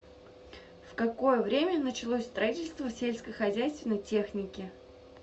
в какое время началось строительство сельскохозяйственной техники